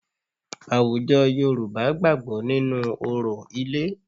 Àwùjọ Yorùbá gbàgbọ́ nínú orò ilé